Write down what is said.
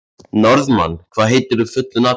Norðmann, hvað heitir þú fullu nafni?